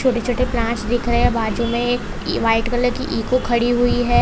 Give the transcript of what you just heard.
छोटे छोटे प्लांट्स दिख रहे है बाजू में एक वाइट कलर की इको खड़ी हुई है।